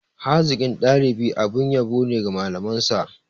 Hazikin dalibi abin yabo ne ga malamansa.